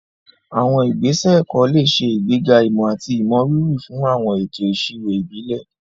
Àwọn ìgbésẹ̀ ẹ̀kọ́ lè ṣe ìgbéga ìmọ̀ àti ìmọrírì fún àwọn ètò ìṣirò ìbílẹ̀.